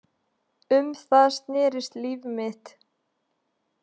Um það snerist líf mitt.